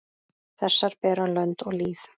Þessar bera lönd og lýð.